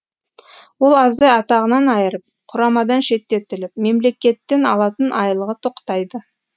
ол аздай атағынан айырып құрамадан шеттетіліп мемлекеттен алатын айлығы тоқтайды